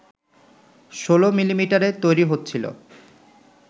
১৬ মিলিমিটারে তৈরি হচ্ছিল